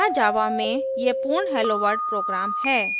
यहाँ java में ये पूर्ण helloworld program हैं